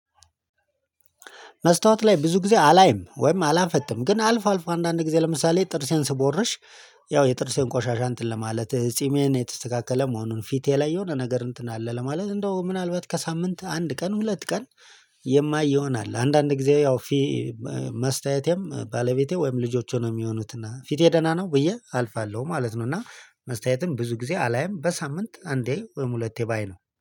መስታወት ላይ ብዙ ጊዜ አላይም ወይም አላፈጥም ግን አልፎ አልፎ አንዳንድ ጊዜ ለምሳሌ ጥርሴን ስቦርሽ ያው የጥርሴን ቆሻሻ እንትን ለማለት ጺሜን የተስተካከለ መሆኑን ፊቴ ላይ የሆነ ነገር እንትን አለ ለማለት እንደው ምናልባት ከሳምንት አንድ ቀን ሁለት ቀን። የማይ ይሆናል አንዳንድ ጊዜ ያው ፊ። መስተያየቴም ባለቤቴ ወይም ልጆቼ ነው የሚሆኑት እና ፊቴ ደህና ነው ብዬ አልፋለሁ ማለት ነው። እና መስተያየትም ብዙ ጊዜ አላይም በሳምንት አንዴ ወይም ሁለቴ ባይ ነው